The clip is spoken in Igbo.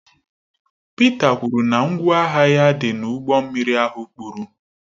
Pita kwuru na ngwa ahịa ya dị n'ụgbọ mmiri ahụ kpuru